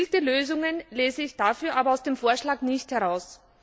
Gezielte Lösungen lese ich dafür aber aus dem Vorschlag nicht heraus.